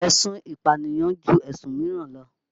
Èsun ìpànìyàn ju ẹ̀sùn míràn lọ.